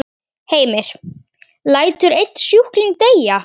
Heimir: Lætur einn sjúkling deyja?